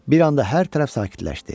Bir anda hər tərəf sakitləşdi.